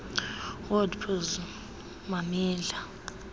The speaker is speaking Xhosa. word puzzle mamela